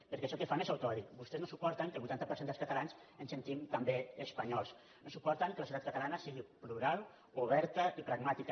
perquè això que fan és autoodi vostès no suporten que el vuitanta per cent dels ca·talans ens sentim també espanyols no suporten que la societat catalana sigui plural oberta i pragmàtica